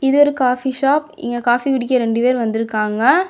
இது ஒரு coffee shop இங்க காபி குடிக்க ரெண்டு பேர் வந்துருக்காங்க.